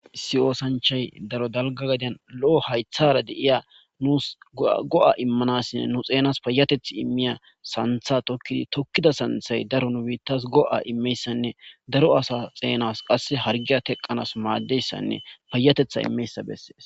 Issi ossanchay issi gaden nus loo' goa'imanas nus payateti imiza sanththa tokida he sanththa nu bitas daro goa'imidanne daro assas harge xena harge teqanasnne payateta teqanas madizaysa beses